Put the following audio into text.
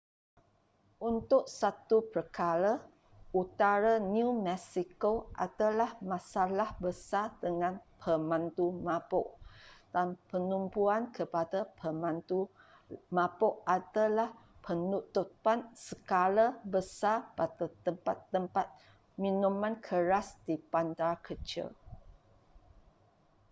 untuk satu perkara utara new mexico ada masalah besar dengan pemandu mabuk dan penumpuan pada pemandu mabuk adalah penutupan skala besar pada tempat-tempat minuman keras di bandar kecil